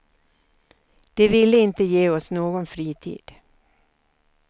De ville inte ge oss någon fritid.